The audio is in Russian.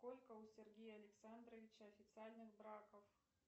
сколько у сергея александровича официальных браков